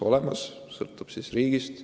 Lahendus sõltub riigist.